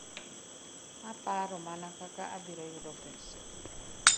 Aparo mana kaka abiro yudo pesa.